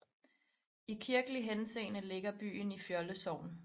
I kirkelig henseende ligger byen i Fjolde Sogn